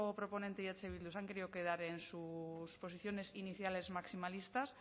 proponente y eh bildu se han querido quedar en sus posiciones iniciales maximalistas